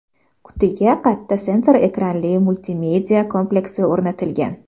Qutiga katta sensor ekranli multimedia kompleksi o‘rnatilgan.